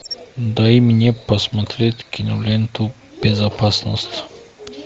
дай мне посмотреть киноленту безопасность